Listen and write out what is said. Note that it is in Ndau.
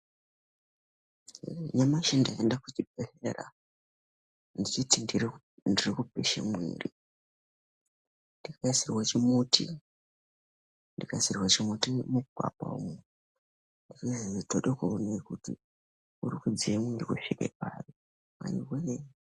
Nyamashi ndaenda kuchibhedhlera ndichiti ndiri kupishe mwiri ndikaisirwe chimuti mugwapa umu vati tode kuone kuti uri kudziya mwiri kusvika pari.